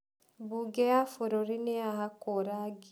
Mbunge ya bũrũri nĩyahakũo rangi.